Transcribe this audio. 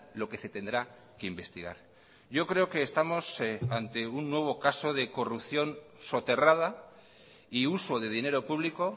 lo que se tendrá que investigar yo creo que estamos ante un nuevo caso de corrupción soterrada y uso de dinero público